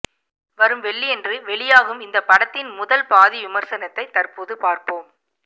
வரும் வெள்ளியன்று வெளியாகும் இந்த படத்தின் முதல் பாதி விமர்சனத்தை தற்போது பார்ப்போம்